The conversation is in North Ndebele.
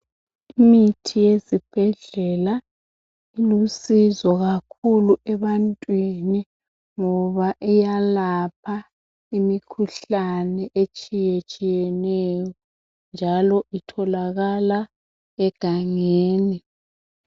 Imithi yezibhedlela ilusizo kakhulu ebantwini ngoba iyalapha imikhuhlane etshiyetshiyeneyo njalo itholakala egangeni.